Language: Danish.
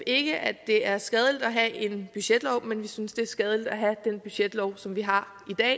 ikke at det er skadeligt at have en budgetlov men vi synes det er skadeligt at have den budgetlov som vi har